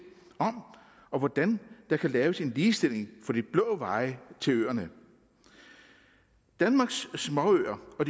om og hvordan der kan laves en ligestilling for de blå veje til øerne danmarks småøer og